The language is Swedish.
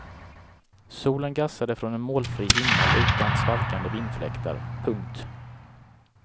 Solen gassade från en molnfri himmel utan svalkande vindfläktar. punkt